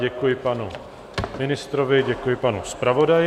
Děkuji panu ministrovi, děkuji panu zpravodaji.